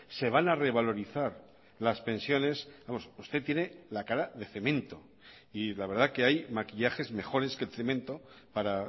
se van a revalorizar las pensiones usted tiene la cara de cemento y la verdad que hay maquillajes mejores que el cemento para